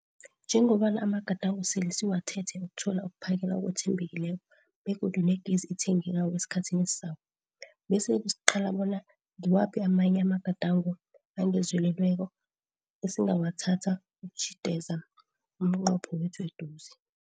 Njengobana amagadango sele siwathethe ukuthola ukuphakela okwethembekileko begodu negezi ethengekako esikhathini esizako, besele siqala bona ngiwaphi amanye amagadango angezelelweko esingawathatha ukutjhideza umnqopho wethu eduze.